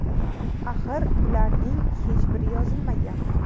Axir bularning hech biri yozilmagan.